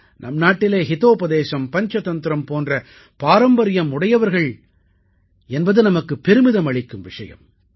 நம் நாட்டிலே ஹிதோபதேசம் பஞ்சதந்திரம் போன்ற பாரம்பரியம் உடையவர்கள் என்பது நமக்குப் பெருமிதம் அளிக்கும் விஷயம்